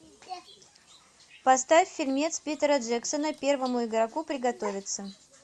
поставь фильмец питера джексона первому игроку приготовиться